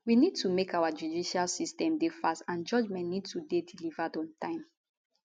we need to make our judicial system dey fast and judgement need to dey delivered on time